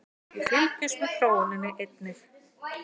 Við fylgjumst með þróuninni einnig